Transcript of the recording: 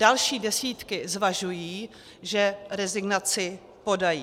Další desítky zvažují, že rezignaci podají.